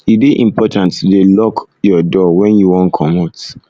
e dey important to dey lock um your door wen you wan comot